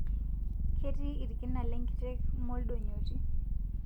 Ketii lkina lenkiteng moldonyoti